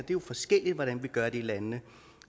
jo forskelligt hvordan vi gør det i landene